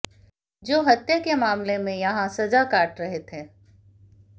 जो हत्या के मामले में यहाँ सजा काट रहे थे